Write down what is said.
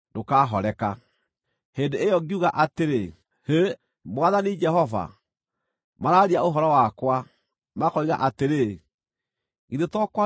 Hĩndĩ ĩyo ngiuga atĩrĩ, “Hĩ! Mwathani Jehova. Maraaria ũhoro wakwa, makoiga atĩrĩ, ‘Githĩ to kwaria araaria na ngerekano?’ ”